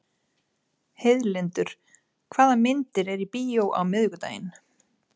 Heiðlindur, hvaða myndir eru í bíó á miðvikudaginn?